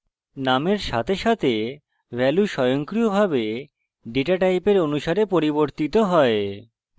নামের সাথে সাথে value স্বয়ংক্রিয়ভাবে ডেটা টাইপের অনুসারে পরিবর্তিত হয়